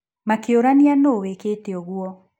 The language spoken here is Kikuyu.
Makĩũrania nũũ wĩkĩte ũguo.